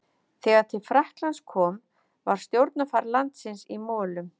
Þegar til Frakklands kom var stjórnarfar landsins í molum.